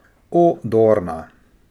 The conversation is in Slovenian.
O, Dorna.